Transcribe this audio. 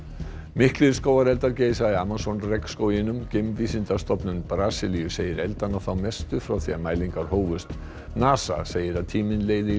miklir skógareldar geisa í Amazon geimvísindastofnun Brasilíu segir eldana þá mestu frá því mælingar hófust NASA segir að tíminn leiði í